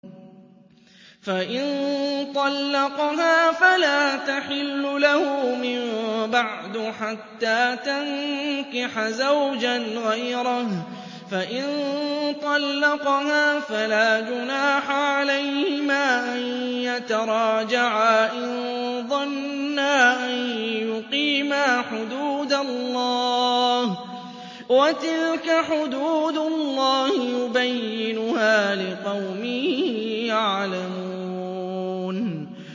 فَإِن طَلَّقَهَا فَلَا تَحِلُّ لَهُ مِن بَعْدُ حَتَّىٰ تَنكِحَ زَوْجًا غَيْرَهُ ۗ فَإِن طَلَّقَهَا فَلَا جُنَاحَ عَلَيْهِمَا أَن يَتَرَاجَعَا إِن ظَنَّا أَن يُقِيمَا حُدُودَ اللَّهِ ۗ وَتِلْكَ حُدُودُ اللَّهِ يُبَيِّنُهَا لِقَوْمٍ يَعْلَمُونَ